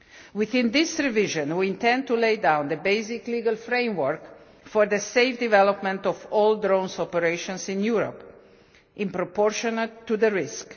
Within this revision, we intend to lay down the basic legal framework for the safe development of all drone operations in Europe, in proportion to the risk.